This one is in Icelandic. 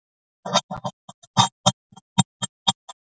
strax þegar hann steig út úr vagninum.